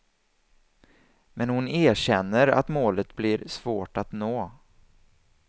Men hon erkänner att målet blir svårt att nå.